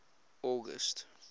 august